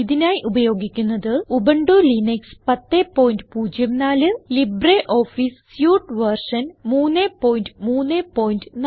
ഇതിനായി ഉപയോഗിക്കുന്നത് Ubuntu Linux 1004 LibreOffice suite version 334